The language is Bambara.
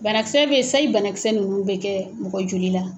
Banakisɛ bɛ yen ,sayi banakisɛ ninnu bɛ kɛ mɔgɔ joli la.